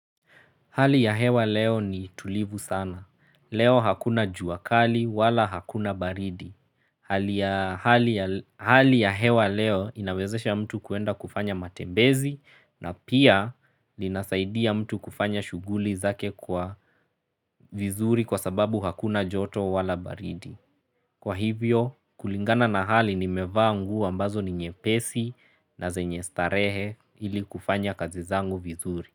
Hali ya hewa leo ni tulivu sana. Leo hakuna juakali wala hakuna baridi hali ya Hali ya hewa leo inawezesha mtu kuenda kufanya matembezi na pia linasaidia mtu kufanya shughuli zake kwa vizuri kwa sababu hakuna joto wala baridi. Kwa hivyo, kulingana na hali nimevaa nguo ambazo ni nyepesi na zenye starehe ili kufanya kazi zangu vizuri.